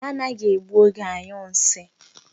Ha anaghị egbu oge anyụ nsị.